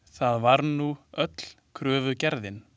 Það var nú öll kröfugerðin.